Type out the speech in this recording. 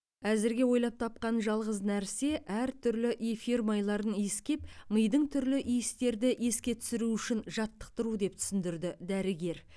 әзірге ойлап тапқан жалғыз нәрсе әртүрлі эфир майларын иіскеп мидың түрлі иістерді еске түсіруі үшін жаттықтыру деп түсіндірді дәрігер